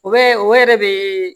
O bɛ o yɛrɛ bɛ